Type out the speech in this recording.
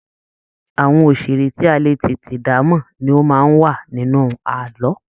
Àwọn òṣeré tí a lè tètè damọ ní o máa n wà nínú ààlọ́.